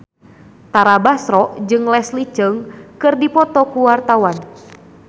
Tara Basro jeung Leslie Cheung keur dipoto ku wartawan